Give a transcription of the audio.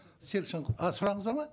серік а сұрағыңыз бар ма